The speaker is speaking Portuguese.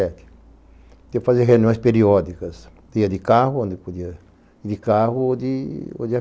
Eu fazia reuniões periódicas, ia de carro ou de avião para Londrina, Maringá, Curitiba.